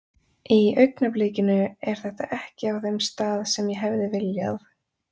Í augnablikinu er þetta ekki á þeim stað sem ég hefði viljað.